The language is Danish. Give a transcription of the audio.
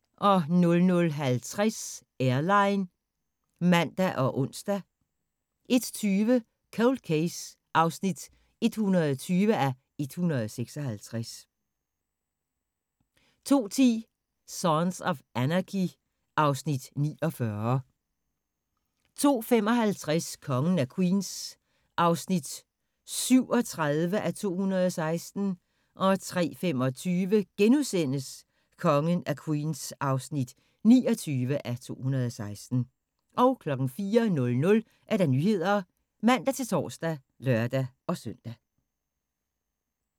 00:50: Airline (man og ons) 01:20: Cold Case (120:156) 02:10: Sons of Anarchy (Afs. 49) 02:55: Kongen af Queens (37:216) 03:25: Kongen af Queens (29:216)* 04:00: Nyhederne (man-tor og lør-søn)